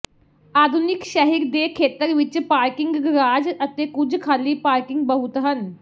ਆਧੁਨਿਕ ਸ਼ਹਿਰ ਦੇ ਖੇਤਰ ਵਿੱਚ ਪਾਰਕਿੰਗ ਗਰਾਜ ਅਤੇ ਕੁਝ ਖਾਲੀ ਪਾਰਕਿੰਗ ਬਹੁਤ ਹਨ